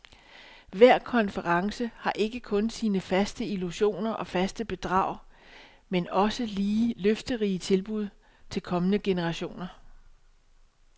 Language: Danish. Hver konference har ikke kun sine faste illusioner og faste bedrag, men også lige løfterige tilbud til kommende generationer.